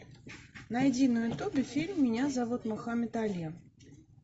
найди на ютубе фильм меня зовут мохаммед али